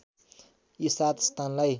यी सात स्थानलाई